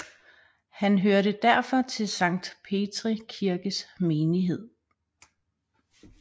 Han hørte derfor til Sankt Petri Kirkes menighed